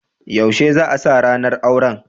Yaushe za'a sa ranar auran?